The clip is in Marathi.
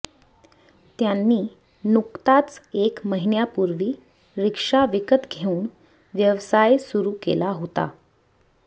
त्यांनी नुकताच एक महिन्यापूर्वी रिक्षा विकत घेऊन व्यवसाय सुरू केला होता